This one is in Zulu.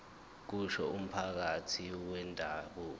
kusho umphathi wendabuko